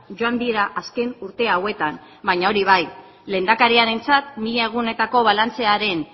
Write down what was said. joan dira azken urte hauetan baina hori bai lehendakariarentzat mila egunetako balantzearen